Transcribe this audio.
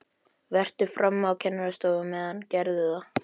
Vertu frammi á kennarastofu á meðan, gerðu það!